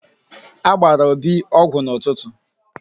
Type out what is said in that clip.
A gbara Obi ọgwụ n'ụtụtụ.